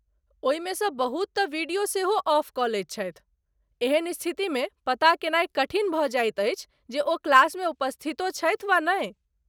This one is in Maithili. ओहिमे सँ बहुत तँ वीडियो सेहो ऑफ कऽ लैत छथि, एहन स्थितिमे पता कयनाय कठिन भऽ जाइत अछि जे ओ क्लासमे उपस्थितो छथि वा नहि।